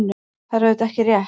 Það er auðvitað ekki rétt.